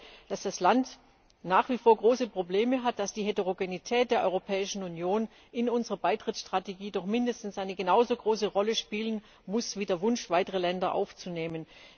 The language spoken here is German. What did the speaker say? Ich glaube, dass das Land nach wie vor große Probleme hat, dass die Heterogenität der Europäischen Union in unserer Beitrittsstrategie doch mindestens eine genauso große Rolle spielen muss wie der Wunsch, weitere Länder aufzunehmen.